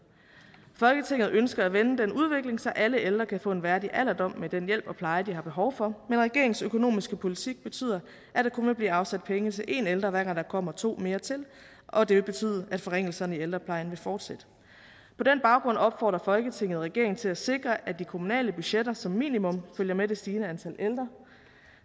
folketinget ønsker at vende den udvikling så alle ældre kan få en værdig alderdom med den hjælp og pleje de har behov for men regeringens økonomiske politik betyder at der kun vil blive afsat penge til én ældre hver gang der kommer to mere til og det vil betyde at forringelserne i ældreplejen vil fortsætte på den baggrund opfordrer folketinget regeringen til at sikre at de kommunale budgetter som minimum følger med det stigende antal ældre